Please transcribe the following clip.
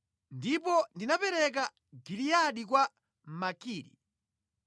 Ndipo ndinapereka Giliyadi kwa Makiri.